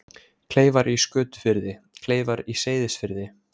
Kleifar í Skötufirði, Kleifar í Seyðisfirði.